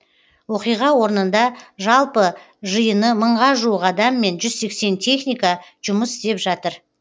оқиға орнында жалпы жиыны мыңға жуық адам мен жүз сексен техника жұмыс істеп жатыр